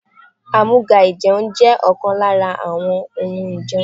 Àmúga-ìjẹun jẹ́ ọ̀kan lára àwọn ohun ìjẹun.